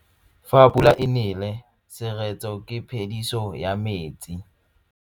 Fa pula e nele seretse ke phediso ya metsi.